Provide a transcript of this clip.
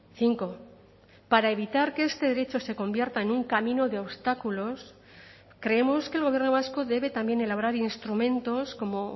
cinco para evitar que este derecho se convierta en un camino de obstáculos creemos que el gobierno vasco debe también elaborar instrumentos como